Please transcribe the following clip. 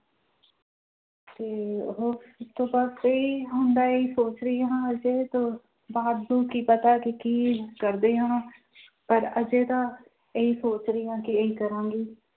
ਤੇ ਹੋਰ ਤੇ ਬਸ ਇਹੀ ਹੁਣ ਤਾਂ ਇਹੀ ਸੋਚ ਰਹੀ ਹਾਂ ਕੀ ਪਤਾ ਕਿ ਕੀ ਕਰਦੇ ਹਾਂ ਪਰ ਹਜੇ ਤਾਂ ਇਹੀ ਸੋਚ ਰਹੀ ਹਾਂ ਕਿ ਇਹੀ ਕਰਾਂਗੀ